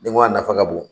Denko a nafa ka bon